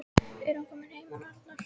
Er hann kominn heim hann Arnar?